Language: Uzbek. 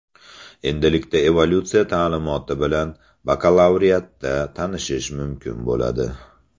Endilikda evolyutsiya ta’limoti bilan bakalavriatda tanishish mumkin bo‘ladi.